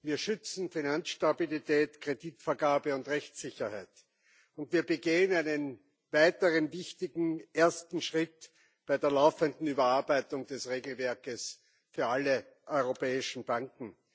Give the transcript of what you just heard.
Wir schützen Finanzstabilität, Kreditvergabe und Rechtssicherheit, und wir gehen einen weiteren wichtigen ersten Schritt bei der laufenden Überarbeitung des Regelwerks für alle europäischen Banken.